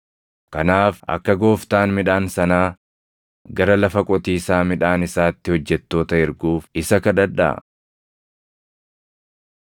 Kanaaf akka Gooftaan midhaan sanaa gara lafa qotiisaa midhaan isaatti hojjettoota erguuf isa kadhadhaa.”